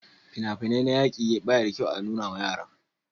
fina-finai na yaƙi bai da kyau a nuna ma yara